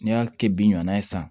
N'i y'a kɛ bin ɲana ye sa